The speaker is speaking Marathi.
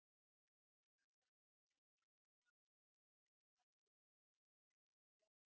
okay sir तुम्ही Check केला का ते ओल होत का ते? तिथे काही जिथे फाटलाय तिथे?